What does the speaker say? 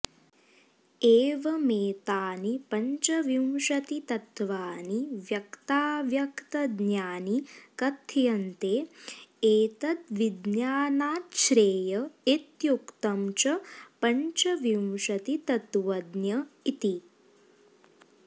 एवमेतानि पञ्चविंशतितत्त्वानि व्यक्ताव्यक्तज्ञानि कथ्यन्ते एतद्विज्ञानाच्छ्रेय इत्युक्तं च पञ्चविंशतितत्त्वज्ञ इति